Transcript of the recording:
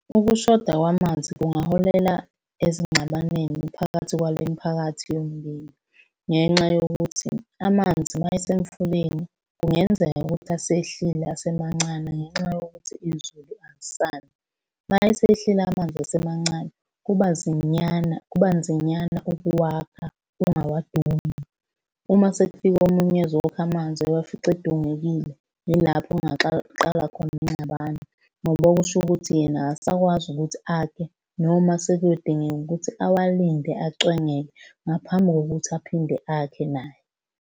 Ukushoda kwamanzi kungaholela ezingxabanweni phakathi kwale miphakathi yombili, ngenxa yokuthi amanzi uma esemfuleni kungenzeka ukuthi asehlile asemancane ngenxa yokuthi izulu alisani. Uma esehlile amanzi asemancane, kuba zinyana kuba nzinyana ukuwakha ungawadungi. Uma sekufike omunye ezokha amanzi wawafica edungekile, yilapho qala khona ingxabano, ngoba kusho ukuthi yena akasakwazi ukuthi akhe noma sekuyodingeka ukuthi awalinde acwengeke ngaphambi kokuthi aphinde akhe naye.